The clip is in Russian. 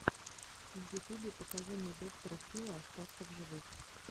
в ютубе покажи мне доктора фила остаться в живых